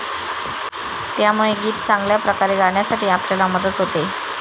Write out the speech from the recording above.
त्यामुळे गीत चांगल्या प्रकारे गाण्यासाठी आपल्याला मदत होते.